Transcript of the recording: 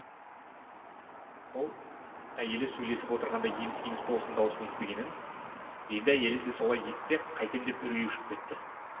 ол әйелі сөйлесіп отырғанда еміс еміс болсын дауыс естігенін енді әйелі де солай есітсе қайтем деп үрейі ұшып кетті